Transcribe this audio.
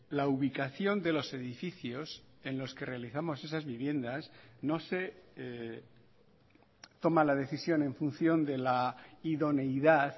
la ubicación de los edificios en los que realizamos esas viviendas no se toma la decisión en función de la idoneidad